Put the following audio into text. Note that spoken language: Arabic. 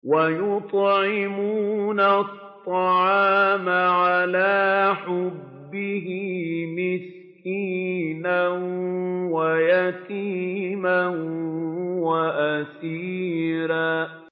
وَيُطْعِمُونَ الطَّعَامَ عَلَىٰ حُبِّهِ مِسْكِينًا وَيَتِيمًا وَأَسِيرًا